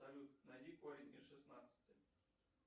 салют найди корень из шестнадцати